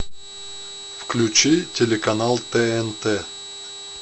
включи телеканал тнт